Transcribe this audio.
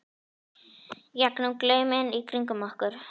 í gegnum glauminn í kringum okkur.